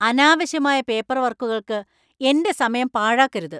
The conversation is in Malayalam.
അനാവശ്യമായ പേപ്പർവർക്കുകൾക്ക് എന്‍റെ സമയം പാഴാക്കരുത്.